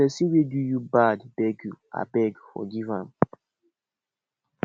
if pesin wey do you bad beg you abeg forgive am